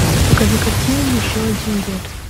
покажи картину еще один год